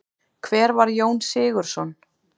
Hver var Jón Sigurðsson?